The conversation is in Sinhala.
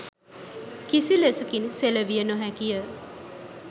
කිසිලෙසකින් සෙලවිය නොහැකි ය.